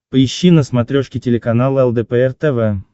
поищи на смотрешке телеканал лдпр тв